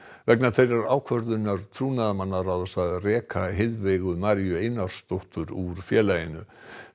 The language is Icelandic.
vegna þeirrar ákvörðunar trúnaðarmannaráðs að reka Maríu Einarsdóttur úr félaginu